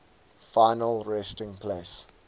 final resting place